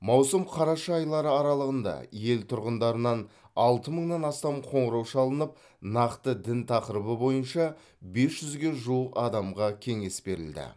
маусым қараша айлары аралығында ел тұрғындарынан алты мыңнан астам қоңырау шалынып нақты дін тақырыбы бойынша бес жүзге жуық адамға кеңес берілді